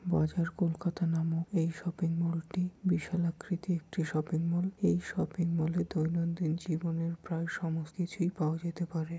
বাজার কলকাতা নামক এই শপিং মলটি বিশাল আকৃতির একটি শপিং মল । এই শপিং মলে দৈনন্দিন জীবনের প্রায় সমস্ত কিছুই পাওয়া যেতে পারে ।